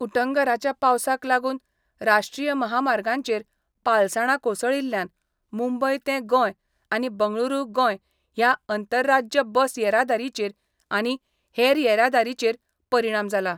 उटंगराच्या पावसाक लागून राष्ट्रीय महामार्गांचेर पालसाणां कोसळिल्ल्यान मुंबय तें गोंय आनी बंगळुरू गोंय ह्या अंतरराज्य बस येरादारीचेर आनी हेर येरादारीचेर परिणाम जाला.